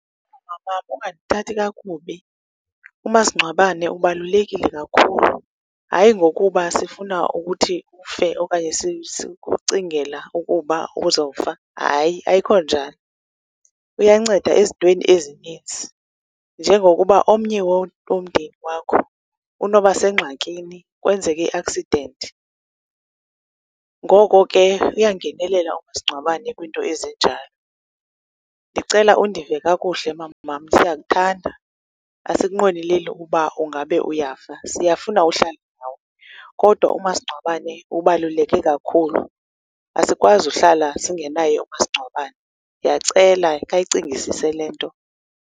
Mama, ungandithathi kakubi, umasingcwabane ubalulekile kakhulu, hayi ngokuba sifuna ukuthi ufe okanye sikucingela ukuba uzawufa. Hayi, ayikho njalo. Uyanceda ezintweni ezininzi njengokuba omnye womndeni wakho unoba sengxakini, kwenzeke i-accident. Ngoko ke uyangenelela umasincgwabene kwiinto ezinjalo. Ndicela undiva kakuhle mama, siyakuthanda. Asikunqweneleli ukuba ungabe uyafa, siyafuna ukuhlala nawe. Kodwa umasingcwabane ubaluleke kakhulu. Asikwazi uhlala singenaye umasingcwabane. Ndiyacela khayicingisise le nto.